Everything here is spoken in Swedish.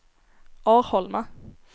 Arholma